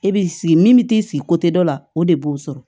E b'i sigi min mi t'i sigi dɔ la o de b'o sɔrɔ